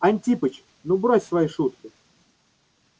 антипыч ну брось свои шутки